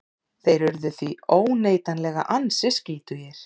Þeir urðu því óneitanlega ansi skítugir.